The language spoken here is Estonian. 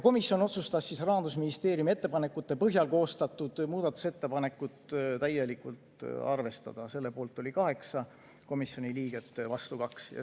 Komisjon otsustas Rahandusministeeriumi ettepanekute põhjal koostatud muudatusettepanekut täielikult arvestada, selle poolt oli 8 komisjoni liiget, vastu 2.